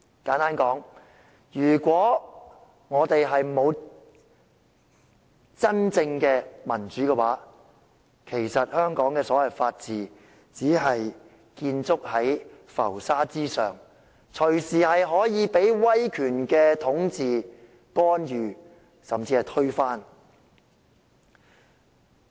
簡單來說，如果沒有真正的民主，其實香港所謂的法治只是建築在浮沙之上，隨時可以被威權統治、干預，甚至推翻。